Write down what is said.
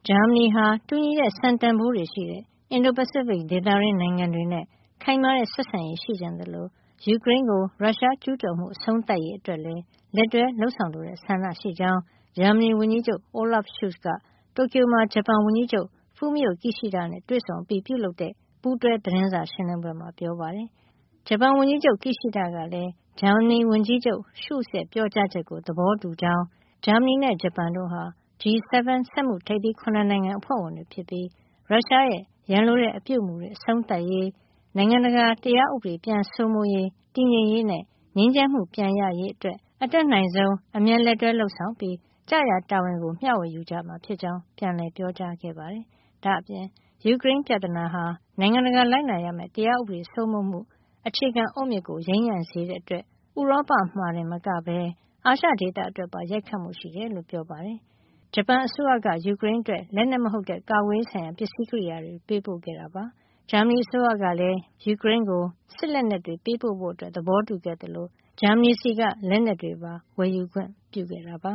ဂျာမနီဟာ တူညီတဲ့ စံတန်ဖိုးတွေရှိတဲ့ အင်ဒို-ပစိဖိတ်ဒေသတွင်း နိုင်ငံတွေနဲ့ ခိုင်မာတဲ့ ဆက်ဆံရေး ရှိချင်သလို ၊ ယူကရိန်းကို ရုရှားဝင်ကျူးကျော်မှု အဆုံးသတ်ရေးအတွက်လည်း လက်တွဲ လုပ်ဆောင်လိုတဲ့ ဆန္ဒရှိကြောင်း ဂျာမနီဝန်ကြီးချုပ် Olaf Scholz က တိုကျိုမှာ ဂျပန်ဝန်ကြီးချုပ် Fumio Kishida နဲ့ တွေ့ဆုံမှုအပြီးပြုလုပ်တဲ့ ပူးတွဲသတင်းစာရှင်းလင်းပွဲမှာ ပြောပါတယ်။ ဂျပန်ဝန်ကြီးချုပ် Kishida ကလည်း ဂျာမနီဝန်ကြီးချုပ် Scholz ရဲ့ ပြောကြားချက်ကို သဘောတူကြောင်း၊ ဂျာမနီနဲ့ ဂျပန်တို့ဟာ G 7 စက်မှုထိပ်သီး ၇ နိုင်ငံ အဖွဲ့ဝင်တွေ ဖြစ်ကြပြီး ရုရှားရဲ့ ရန်လိုတဲ့အပြုမူတွေ အဆုံးသတ်ရေး၊ နိုင်ငံတကာ တရားဥပဒေ ပြန်လည်စိုးမိုးရေး၊ တည်ငြိမ်ရေးနဲ့၊ ငြိမ်းချမ်းမှုပြန်ရရေးအတွက် အတတ်နိုင်ဆုံး အမြန် လက်တွဲလုပ်ဆောင်ပြီး ကျရာတာဝန်ကို မျှဝေယူကြမှာ ဖြစ်ကြောင်း ပြန်လည် ပြောကြားခဲ့ပါတယ်။ ဒါ့အပြင် ယူကရိန်းပြဿနာဟာ နိုင်ငံတကာ လိုက်နာရမယ့် တရားဥပဒေ စိုးမိုးမှု အခြေခံအုတ်မြစ်ကို ယိမ်းယိုင်းစေတဲ့ အတွက် ဥရောပမှာတင် မကပဲ အာရှဒေသအတွက်ပါ ရိုက်ခတ်မှု ရှိကြောင်း ပြောကြားခဲ့ပါတယ်။ ဂျပန်အစိုးရက ယူကရိန်းအတွက် လက်နက်မဟုတ်တဲ့ ကာကွယ်ရေးဆိုင်ရာ ပစ္စည်းကရိယာတွေ ပေးပို့ခဲ့ပါတယ်။ ဂျာမနီအစိုးရကလည်း မကြာသေးခင်ကမှ ယူကရိန်းကို စစ်လက်နက်တွေ ပေးပို့ဖို့ သဘောတူခဲ့သလို ဂျာမနီဆီက လက်နက်တွေပါ ဝယ်ယူခွင့်ပြုခဲ့ပ